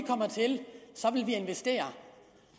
investere